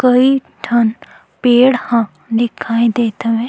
कई ठन पेड़ ह दिखाई देत हवे--